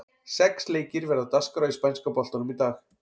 Sex leikir verða á dagskrá í spænska boltanum í dag.